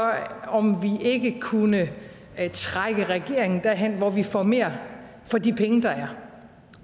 om vi ikke kunne trække regeringen derhen hvor vi får mere for de penge der er